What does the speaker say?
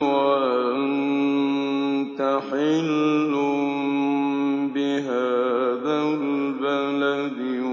وَأَنتَ حِلٌّ بِهَٰذَا الْبَلَدِ